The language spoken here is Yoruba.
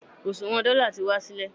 oṣuwọn dọ́là ti wá sílẹ̀